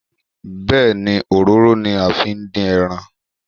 Bẹ́ẹ̀ni, òróró ni a fi ń dín ẹran